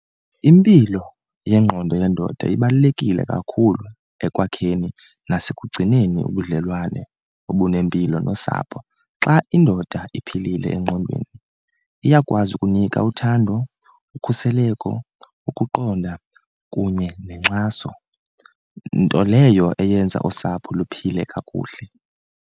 Impilo yengqondo yendoda ibalulekile kakhulu ekwakheni nasekugcineni ubudlelwane obunempilo nosapho. Xa indoda iphilile engqondweni iyakwazi ukunika uthando, ukhuseleko, ukuqonda kunye nenkxaso nto leyo eyenza usapho luphile kakuhle.